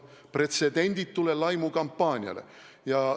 See on pretsedenditu laimukampaania!